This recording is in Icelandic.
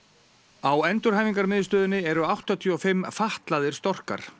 á endurhæfingarmiðstöðinni eru áttatíu og fimm fatlaðir storkar